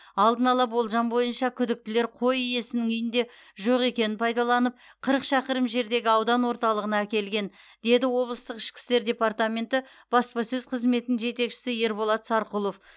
алдын ала болжам бойынша күдіктілер қой иесінің үйінде жоқ екенін пайдаланып қырық шақырым жердегі аудан орталығына әкелген деді облыстық ішкі істер департаменті баспасөз қызметінің жетекшісі ерболат сарқұлов